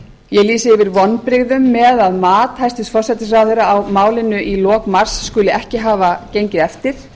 ég lýsi yfir vonbrigðum með að mat hæstvirtur forsætisráðherra á málinu lok mars skuli ekki hafa gengið eftir